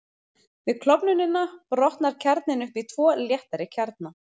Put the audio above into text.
Við klofnunina brotnar kjarninn upp í tvo léttari kjarna.